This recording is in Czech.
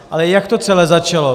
Ale jak to celé začalo?